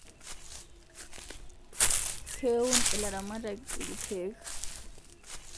keun ilaramatak irkeek